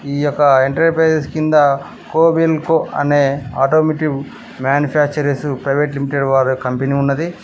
ఈ యొక్క ఎంటర్ప్రైసెస్ కింద కొబెల్కో అనే ఆటోమోటివ్ మ్యానుఫ్యాక్చురర్సు ప్రైవేటు లిమిటెడ్ వారు కంపెనీ ఉన్నది.